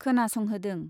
खोनासंहोदों।